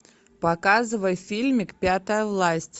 показывай фильмик пятая власть